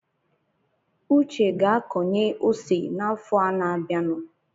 Uche ga-akọnye ose n’afọ a na-abianụ